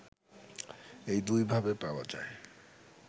এই দুইভাবে পাওয়া যায়